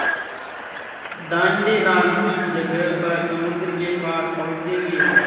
दाँडी नाम की जगह पर समुद्र के पास पहुँचेंगे